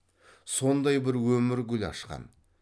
сондай бір өмір гүл ашқан